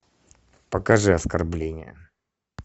покажи оскорбление